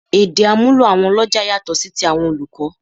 Èdè àmúlò àwọn ọlọ́jà yàtọ̀ sí ti àwọn olùkọ́